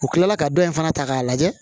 U kilala ka dɔ in fana ta k'a lajɛ